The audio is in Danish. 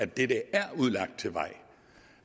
det der er udlagt til vej